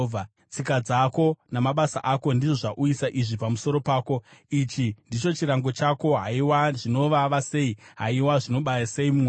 “Tsika dzako namabasa ako ndizvo zvauyisa izvi pamusoro pako. Ichi ndicho chirango chako. Haiwa, zvinovava sei! Haiwa, zvinobaya sei mwoyo!”